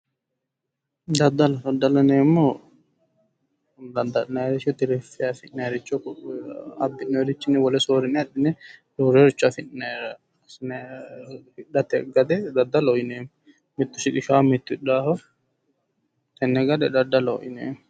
Daddallo, daddallo yinneemmohu dadda'linnaniricho tirifi'ne afi'nanniricho ,abbi'nonnirichini wole soorrine abbi'ne roorericho afi'nara assinanniricho hidhate gade daddalloho yinneemmo mitu hidhanoho mitu shiqqishanoho tene gade daddalloho yinneemmo